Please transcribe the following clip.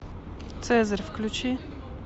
цезарь включи